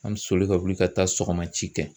An bɛ soli ka wuli ka taa sɔgɔmaci kɛ.